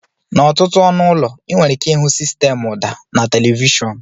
N'ọtụtụ ọnụ ụlọ, ị nwere ike ịhụ sistemụ ụda na televishọn.